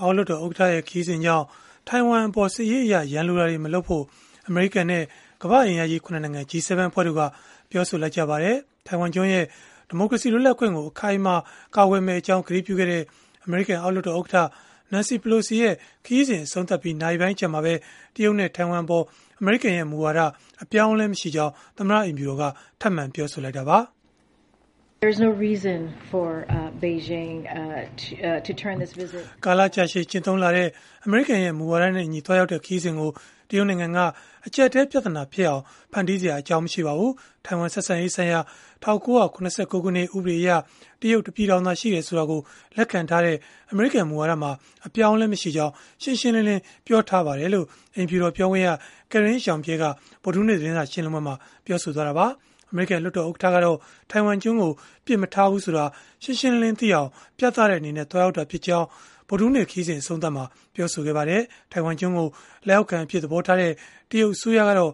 အောက်လွှတ်တော် ဥက္ကဋ္ဌရဲ့ ခရီးစဉ်ကြောင့် ထိုင်ဝမ်အပေါ် စစ်ရေးအရ ရန်လိုတာတွေ မလုပ်ဖို့ အမေရိကန်နဲ့ ကမ္ဘာ့အင်အားကြီး ၇ နိုင်ငံ G-7 အဖွဲ့တို့က ပြောဆိုလိုက်ပါတယ်။ ထိုင်ဝမ်ကျွန်းရဲ့ ဒီမိုကရေစီလွတ်လပ်ခွင့်ကို အခိုင်အမာ ကာကွယ်မယ့်အကြောင်း ကတိပြုခဲ့တဲ့ အမေရိကန်အောက်လွှတ်တော် ဥက္ကဋ္ဌ Nancy Pelosi ရဲ့ ခရီးစဉ် အဆုံးသတ်ခဲ့ပြီး နာရီပိုင်းအကြာမှာပဲ တရုတ်နဲ့ ထိုင်ဝမ်အပေါ် အမေရိကန်ရဲ့ မူဝါဒအပြောင်းအလဲ မရှိကြောင်း သမ္မတအိမ်ဖြူတော်က ထပ်မံပြောဆိုခဲ့တာပါ။ “ကာလကြာရှည် ကျင့်သုံးလာတဲ့ အမေရိကန်ရဲ့ မူဝါဒနဲ့အညီ သွားရောက်ခဲ့တဲ့ ခရီးစဉ်ကို တရုတ်နိုင်ငံက အကျပ်အတည်းပြဿနာဖြစ်အောင် ဖန်တီးစရာ အကြောင်းမရှိပါဘူး။ ထိုင်ဝမ်ဆက်ဆံရေးဆိုင်ရာ ၁၉၇၉ ခုနှစ် ဥပဒေအရ တရုတ်တပြည်ထောင်သာရှိတယ်ဆိုတာကို လက်ခံထားတဲ့ အမေရိကန် မူဝါဒမှာ အပြောင်းအလဲ မရှိကြောင်း ရှင်းရှင်းလင်းလင်း ပြောထားပါတယ်” လို့ အိမ်ဖြူတော်ပြောခွင့်ရ Karine Jean-Pierre က ဗုဒ္ဓဟူးနေ့ သတင်းစာရှင်းလင်းပွဲမှာ ပြောဆိုလိုက်တာပါ။ အမေရိကန် လွှတ်တော်ဥက္ကဋ္ဌကတော့ ထိုင်ဝမ်ကျွန်းကို ပစ်မထားဘူးဆိုတာ ရှင်းရှင်းလင်းလင်းသိအောင် ပြသတဲ့အနေနဲ့ သွားရောက်တာဖြစ်ကြောင်း ဗုဒ္ဓဟူးနေ့ ခရီးစဉ်အဆုံးသတ်မှာ ပြောဆိုခဲ့ပါတယ်။ ထိုင်ဝမ်ကျွန်းကို လက်အောက်ခံအဖြစ် သဘောထားတဲ့ တရုတ်အစိုးရကတော့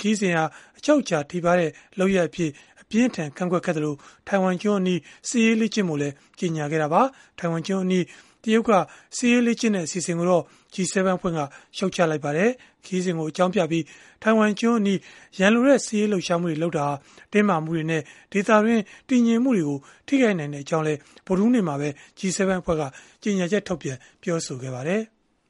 ခရီးစဉ်ဟာ အချုပ်အခြာထိပါးတဲ့ လုပ်ရပ်အဖြစ် အပြင်းအထန်ကန့်ကွက်ခဲ့သလို၊ ထိုင်ဝမ်ကျွန်းအနီး စစ်ရေးလေ့ကျင့်ဖို့လည်း ကြေညာခဲ့တာပါ။ ထိုင်ဝမ်ကျွန်းအနီး တရုတ်က စစ်ရေးလေ့ကျင့်တဲ့ အစီအစဉ်ကိုတော့ G-7 အဖွဲ့က ရှုတ်ချလိုက်ပါတယ်။ ခရီးစဉ်ကို အကြောင်းပြပြီး ထိုင်ဝမ်ကျွန်းအနီး ရန်လိုတဲ့ စစ်ရေးလှုပ်ရှားမှုတွေလုပ်တာဟာ တင်းမာမှုတွေနဲ့ ဒေသတွင်း တည်ငြိမ်မှုတွေကို ထိခိုက်နိုင်ကြောင်းလည်း ဗုဒ္ဓဟူးနေ့မှာပဲ G-7 အဖွဲ့က ကြေညာချက်ထုတ်ပြန် ပြောဆိုခဲ့ပါတယ်။